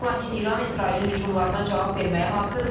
Lakin İran İsrailin hücumlarına cavab verməyə hazırdır.